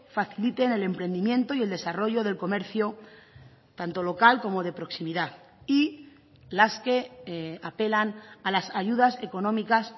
faciliten el emprendimiento y el desarrollo del comercio tanto local como de proximidad y las que apelan a las ayudas económicas